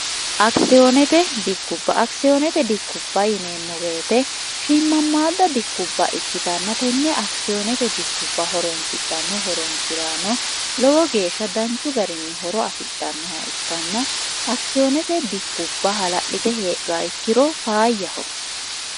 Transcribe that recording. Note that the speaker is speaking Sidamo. akisiyoonete dikkubba akisiyoonete dikkubba yineemmo weete shiimmammaadda dikkubba ikkitannatenne akisiyoonete dikkubba horonsidhanno horonsi'raano lowo geeshsha danchu garinni horo afidhannoha ikkanna akisiyoonete dikkubba hala'lite heedhowa ikkiro faayyaho